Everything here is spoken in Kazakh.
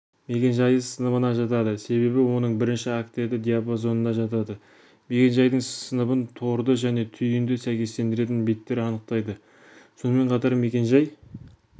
мекен-жайы сыныбына жатады себебі оның бірінші октеті диапазонына жатады мекен-жай сыныбын торды және түйінді сәйкестендіретін биттер анықтайдысонымен қатар мекен-жай